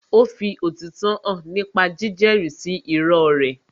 Ó fi òtítọ́ hàn nípa jíjẹ́rí sí irọ́ rẹ̀